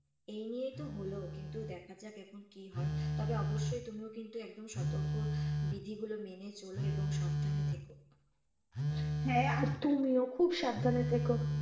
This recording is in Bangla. এই নিয়েই তো হলো কিন্তু দেখা যাক এখন কি হয়। তবে অবশ্যই তুমিও কিন্তু একদম সতর্কবিধি গুলো মেনে চলো এবং সাবধানে থেকো। হ্যাঁ আর তুমিও খুব সাবধানে থেকো।